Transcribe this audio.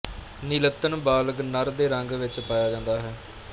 ਨੀਲੱਤਣ ਬਾਲਗ ਨਰ ਦੇ ਰੰਗ ਵਿੱਚ ਪਾਇਆ ਜਾਂਦਾ ਹੈ